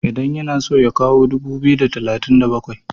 idan yana so ya kawo dubu biyu da talatin da bakwai?